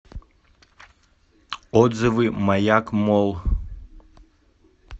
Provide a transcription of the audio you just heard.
отзывы маяк молл